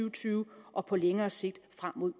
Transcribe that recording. og tyve og på længere sigt frem mod